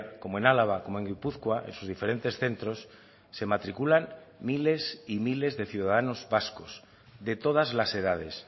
como en álava como en gipuzkoa en sus diferentes centros se matriculan miles y miles de ciudadanos vascos de todas las edades